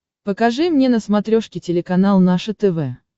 покажи мне на смотрешке телеканал наше тв